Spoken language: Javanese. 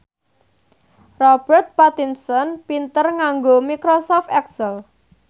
Robert Pattinson pinter nganggo microsoft excel